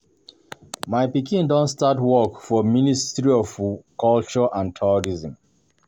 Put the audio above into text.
My pikin don start work for ministry of culture and Tourism